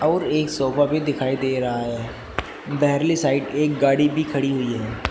और एक सोफा भी दिखाई दे रहा है बेयरली साइड एक गाड़ी भी खड़ी हुई है।